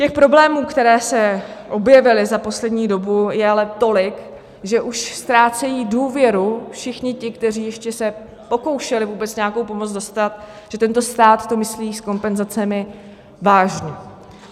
Těch problémů, které se objevily za poslední dobu, je ale tolik, že už ztrácejí důvěru všichni ti, kteří se ještě pokoušeli vůbec nějakou pomoc dostat, že tento stát to myslí s kompenzacemi vážně.